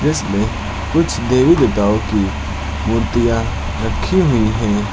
जिसमे कुछ देवी देवताओं की मूर्तियां रखी हुई हैं।